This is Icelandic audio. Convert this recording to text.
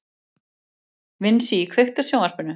Vinsý, kveiktu á sjónvarpinu.